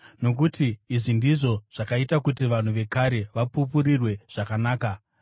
Nokuti izvi ndizvo zvakaita kuti vanhu vekare vapupurirwe zvakanaka.